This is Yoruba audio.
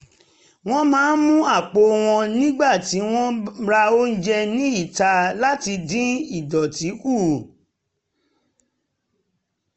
wọ́n máa ń mú àpò wọn nígbà tí wọ́n ń ra oúnjẹ ní ìta láti dín ìdọ̀tí kù